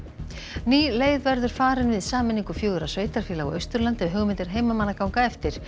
ný leið verður farin við sameiningu fjögurra sveitarfélaga á Austurlandi ef hugmyndir heimamanna ganga eftir